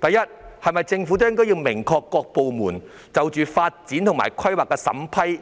第一，政府是否要明確指示各部門，必須就發展和規劃的審批